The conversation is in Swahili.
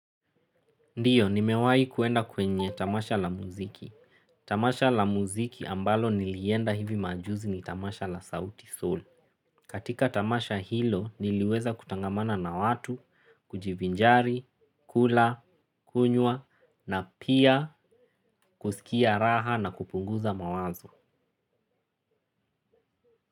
Ndio nimewahi kwenda kwenye tamasha la muziki. Tamasha la muziki ambalo nilienda hivi majuzi ni tamasha la sauti sol. Katika tamasha hilo niliweza kutangamana na watu, kujivinjari, kula, kunywa na pia kusikia raha na kupunguza mawazo.